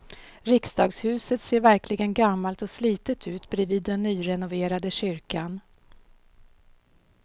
Riksdagshuset ser verkligen gammalt och slitet ut bredvid den nyrenoverade kyrkan.